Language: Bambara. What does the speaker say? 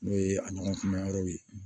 N'o ye a ɲɔgɔn kunda yɔrɔw ye